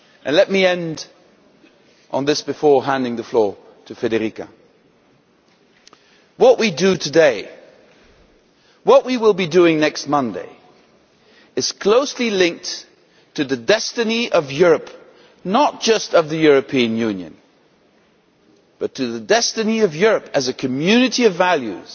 Let me end on this, before handing the floor to Federica what we do today, and what we will be doing next Monday, is closely linked to the destiny of Europe not just of the European Union but to the destiny of Europe as a community of values,